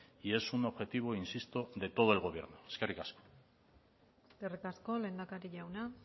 y es un objetivo insisto de todo el gobierno eskerrik asko eskerrik asko lehendakari jauna